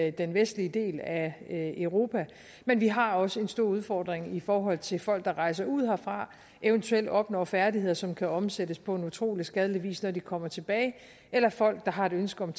i den vestlige del af europa men vi har også en stor udfordring i forhold til folk der rejser ud herfra eventuelt opnår færdigheder som kan omsættes på utrolig skadelig vis når de kommer tilbage eller folk der har et ønske om